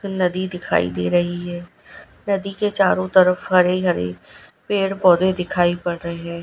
नदी दिखाई दे रही है नदी के चारों तरफ हरे हरे पेड़ पौधे दिखाई पड़ रहे है।